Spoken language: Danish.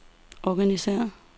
organisér